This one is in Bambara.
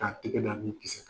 K'a tɛgɛ da nin kisɛ kan.